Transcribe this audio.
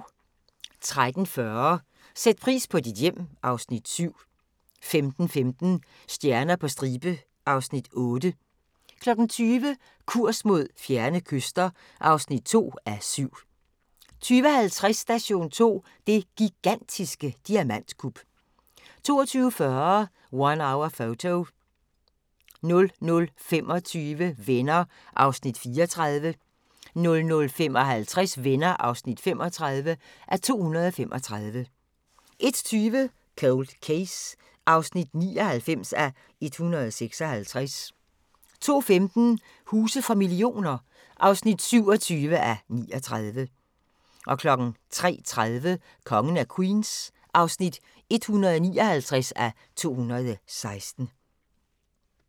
13:40: Sæt pris på dit hjem (Afs. 7) 15:15: Stjerner på stribe (Afs. 8) 20:00: Kurs mod fjerne kyster (2:7) 20:50: Station 2: Det gigantiske diamantkup 22:40: One Hour Photo 00:25: Venner (34:235) 00:55: Venner (35:235) 01:20: Cold Case (99:156) 02:15: Huse for millioner (27:39) 03:30: Kongen af Queens (159:216)